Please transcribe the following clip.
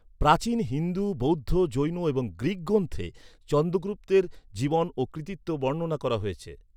প্রাচীন হিন্দু, বৌদ্ধ, জৈন এবং গ্রীক গ্রন্থে চন্দ্রগুপ্তের জীবন ও কৃতিত্ব বর্ণনা করা হয়েছে।